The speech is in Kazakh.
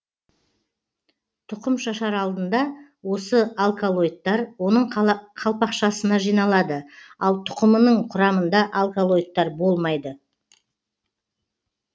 тұқым шашар алдында осы алколоидтар оның қалпақшасына жиналады ал тұқымының құрамында алколоидтар болмайды